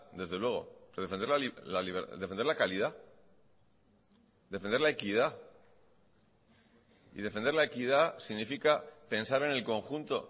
desde luego defender la calidad defender la equidad y defender la equidad significa pensar en el conjunto